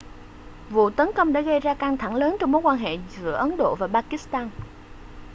vụ tấn công đã gây ra căng thẳng lớn trong mối quan hệ giữa ấn độ và pakistan